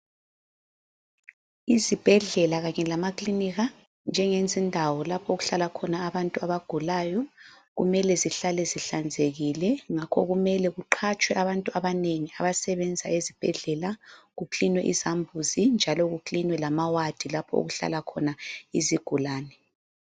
Izibhedlela kanye lamaklinika, njengezindawo lapho okuhlala khona abantu abagulayo .Kumele zihlale zihlanzekile ,ngakho kumele kuqatshwe abantu abanengi abasebenza ezibhedlela kuklinwe izambuzi ,njalo kuklinwe lama wadi lapho okuhlala khona izigulane.